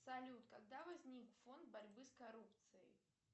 салют когда возник фонд борьбы с коррупцией